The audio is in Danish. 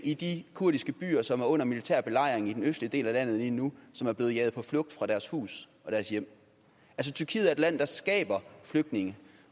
i de kurdiske byer som er under militær belejring i den østlige del af landet lige nu som er blevet jaget på flugt fra deres hus og deres hjem tyrkiet er et land der skaber flygtninge